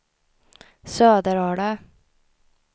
Söderala